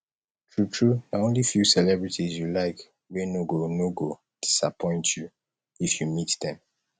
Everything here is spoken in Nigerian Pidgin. true true na only few celebrities you like wey no go no go disappoint you if you meet dem